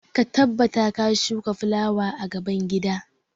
Ka tabbata ka shuka fulawa a gaban gida!